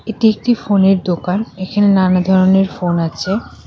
এটি একটি ফোনের দোকান এখানে নানা ধরনের ফোন আছে।